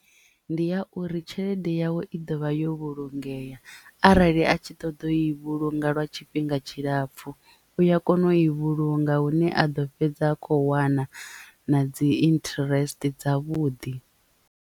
Ndi ya uri tshelede yawe i ḓovha yo vhulungea arali a tshi ṱoḓa u i vhulunga lwa tshifhinga tshilapfu u ya kona u i vhulunga hune a ḓo fhedza a kho wana na dzi interest dza vhuḓi.